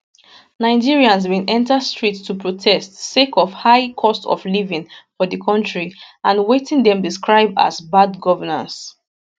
nigerians bin enta street to protest sake of high cost of living for di kontri and wetin dem describe as bad governance